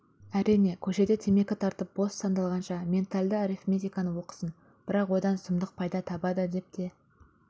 әрине көшеде темекі тартып бос сандалғанша ментальды арифметиканы оқысын бірақ одан сұмдық пайда табады деп те